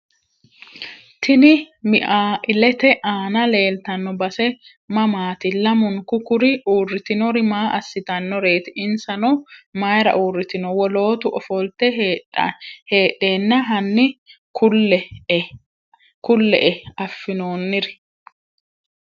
Tini miailete aana leeltano base mamaati lamunku kuri uuritinori maa asitanoreeti insano mayiira uuritino wolootu ofolte hedheena hani kulle`e afinooniri.